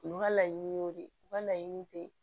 U ka laɲiniw de u ka laɲini te